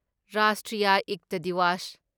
ꯔꯥꯁꯇ꯭ꯔꯤꯌꯥ ꯏꯛꯇ ꯗꯤꯋꯥꯁ